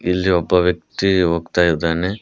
ಇಲ್ಲಿ ಒಬ್ಬ ವ್ಯಕ್ತಿ ಹೋಗ್ತಾ ಇದಾನೆ.